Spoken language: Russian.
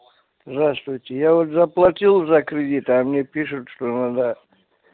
здравствуйте я вот заплатил за кредит а мне пишут что она